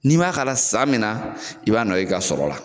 N'i man k'a la san min na i b'a nɔ ye i ka sɔrɔ la.